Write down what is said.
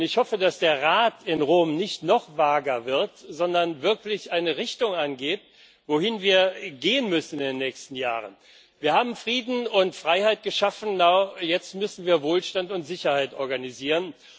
Ich hoffe, dass der Rat in Rom nicht noch vager wird, sondern wirklich eine Richtung angibt, wohin wir in den nächsten Jahren gehen müssen. Wir haben Frieden und Freiheit geschaffen, aber jetzt müssen wir Wohlstand und Sicherheit organisieren.